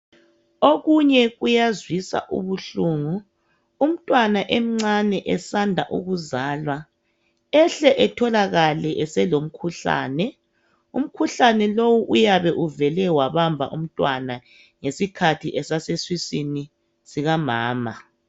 Okunye kuyazwisa ubuhlungu umntwana emncane esanda ukuzalwa ahle atholakale elomkhuhlane. Umkhuhlane lowu uyabe uvele wabamba umntwana ngesikhathi esase siswini sika mama